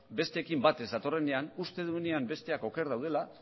besteekin bat ez datorrenean uste duenean besteak oker daudela